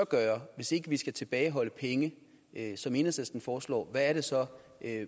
gøre hvis ikke vi skal tilbageholde penge som enhedslisten foreslår hvad er det så